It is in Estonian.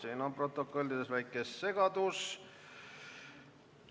Siin on protokollides väike segadus!